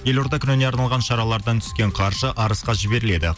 елорда күніне арналған шаралардан түскен қаржы арысқа жіберіледі